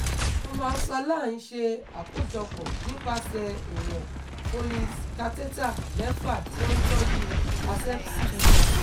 Normalsaline ṣe àkójọpọ̀ nípasẹ̀ ìwọ̀n Foleys catheter mẹ́fà tí ó ń tọ́jú asepsis